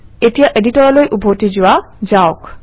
এতিয়া এডিটৰলৈ উভতি যোৱা যাওক